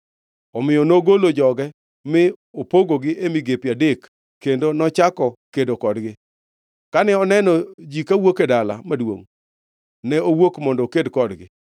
Omiyo nogolo joge, mi opogogi e migepe adek kendo nochako kedo kodgi. Kane oneno ji ka wuok e dala maduongʼ, ne owuok mondo oked kodgi.